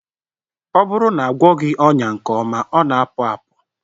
Ọ bụrụ na agwọghị ọnya nke ọma, ọ na-apụ apụ